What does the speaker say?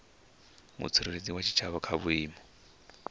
mutsireledzi wa tshitshavha kha vhuimo